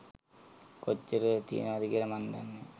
කොච්චර තියනවද කියල මං දන්නෑ.